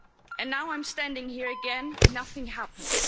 And now I'm standing here again nothing happened.